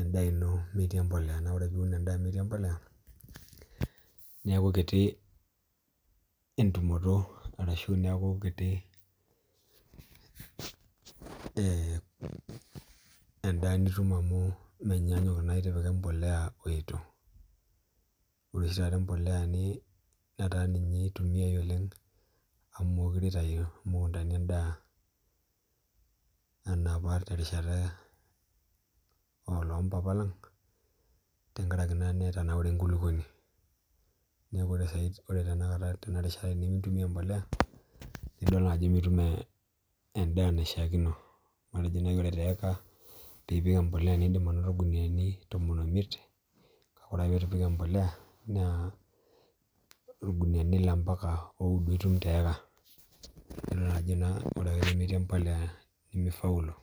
en'daa ino metii embolea naa ore piun endaa ino metii embolea naa ore piun endaa ino metii embolea niaku kiti entumoto ashu niaku kiti endaa nitum amu menyanyuk naa itipika embolea weitu Ore oshi taata embolea netaa ninye eitumiai oleng' amu mukure itayu imukundani en'daa enopa terishata oloompapa lang tenkaraki naa etanaure enkulukuoni niaku ore taata tenarishata tenimintumia embolea nidol naa ajo mitim en'daa naishiakino matejo naji ore taata piipik embolea naa in'dim anoto ilkunuyiani tomon omiet kake orake peetupik embolea naa ilkunuyiani ile ompaka oudo itum teeka idol naa ajo orake metii embolea nimifaulu